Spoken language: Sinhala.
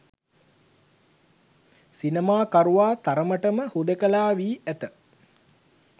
සිනමාකරුවා තරමට ම හුදෙකලා වී ඇත